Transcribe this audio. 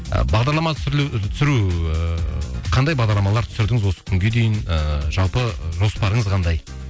ы бағдарлама түсірілу түсіру ііі қандай бағдарламалар түсірдіңіз осы күнге дейін ыыы жалпы жоспарыңыз қандай